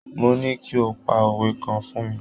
Mo ní kí o pa òwe kan fún mi.